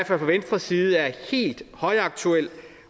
fra venstres side er helt højaktuel